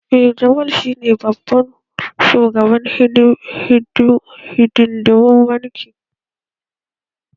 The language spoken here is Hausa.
Eh. Jamal shi ne sabon shugaban hidindimun bankin